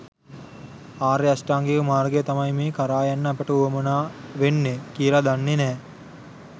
ආර්ය අෂ්ටාංගික මාර්ගය තමයි මේ කරා යන්න අපට වුවමනා වෙන්නේ කියලා දන්නේ නෑ.